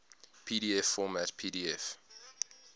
pdf format pdf